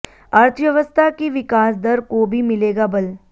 अर्थव्यवस्था की विकास दर को भी मिलेगा बल